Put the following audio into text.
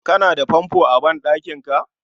Ka na da fanfo a ban ɗankinka